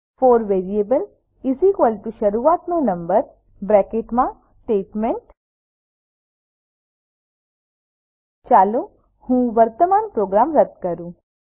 four variable શરૂઆતનો number to અંતિમ number statement ચાલો હું વર્તમાન પ્રોગ્રામ રદ કરું